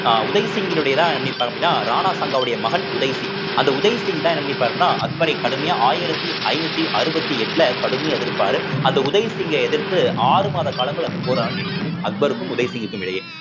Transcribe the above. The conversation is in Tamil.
அஹ் உதய் சிங்கினுடையதான் அப்படின்னா ராணா சங்காவுடைய மகன் உதய் சிங் அந்தஉதய் சிங்தான் என்ன பண்ணியிருப்பாருன்னா அக்பரை கடுமையா ஆயிரத்தி ஐந்நூத்தி அறுவத்தி எட்டுல கடுமையா எதிர்ப்பாரு அந்த உதய் சிங்கை எதிர்த்து ஆறு மாத காலங்கள் அந்த போரா நீடிக்கும் அக்பருக்கும் உதய் சிங்கிற்கும் இடையே